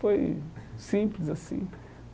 Foi simples assim.